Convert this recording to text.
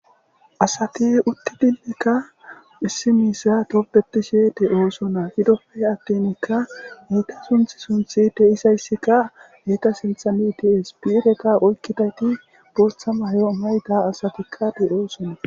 asati utti dillekka issi miisa toppetishede oosona hidoppe attinikka heeta sunth sunthi teisayssikka heeta sintha mities biireka oykkitayti boostha maho mayta asatikkade oosona